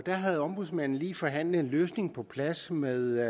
havde ombudsmanden lige forhandlet en løsning på plads med